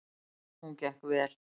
Hún gekk vel.